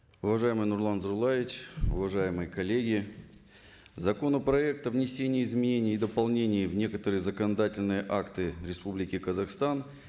уважаемый нурлан зайроллаевич уважаемые коллеги законопроект о внесении изменений и дополнений в некоторые законодательные акты республики казахстан